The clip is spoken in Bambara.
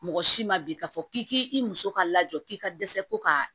Mɔgɔ si ma bi k'a fɔ k'i k'i muso ka lajɔ k'i ka dɛsɛ ko ka